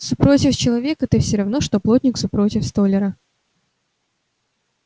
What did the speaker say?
супротив человека ты все равно что плотник супротив столяра